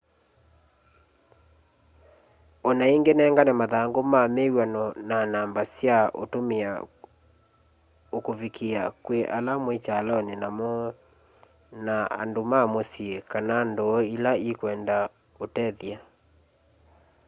o na ingi nengane mathangu ma wiw'ano na namba sya utumia ukuvikia kwi ala mwi kyaloni nao na andu ma musyi kana nduu ila ikwenda utethya